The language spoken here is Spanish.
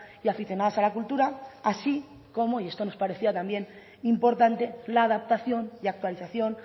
y aficionadas a la cultura así como y esto nos parecía también importante la adaptación y actualización